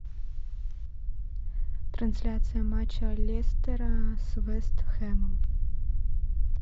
трансляция матча лестера с вест хэмом